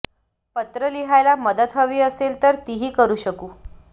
पत्र लिहायला मदत हवी असेल तर तीही करू शकू